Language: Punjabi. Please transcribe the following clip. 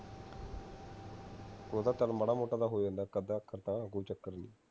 ਉਹ ਤਾਂ ਚੱਲ ਮਾੜਾ ਮੋਟਾ ਤਾਂ ਹੋ ਜਾਂਦਾ ਇਕ ਅੱਧਾ ਅੱਖਰ ਤਾਂ ਕੋਈ ਚੱਕਰ ਨਹੀਂ